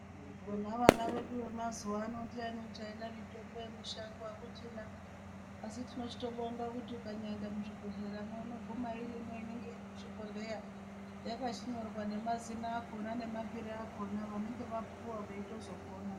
Vona vana vedu vemazuva ano ndiani uchaida mitombo yemushango akuchina asi tinochito bonga kuti ukanyaa enda muzvibhedhlera mwo unoguma irimwo inenge iri muchibhodhleya yakachinyorwa nemazina akona nemapiro akona vanenge vapuwa veitozopona.